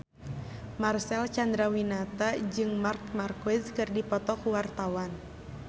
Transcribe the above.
Marcel Chandrawinata jeung Marc Marquez keur dipoto ku wartawan